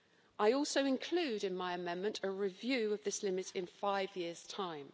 I also include in my amendment a review of this limit in five years' time.